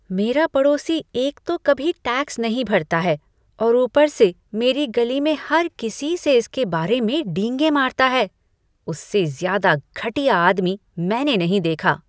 मेरा पड़ोसी एक तो कभी टैक्स नहीं भरता है और ऊपर से मेरी गली में हर किसी से इसके बारे में डींगे मारता है। उससे ज़्यादा घटिया आदमी मैंने नहीं देखा!